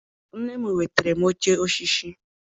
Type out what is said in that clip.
Nne m nwetara m oche osisi.